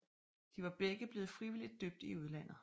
De var begge blevet frivilligt døbt i udlandet